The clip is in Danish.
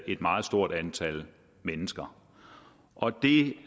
et meget stort antal mennesker og det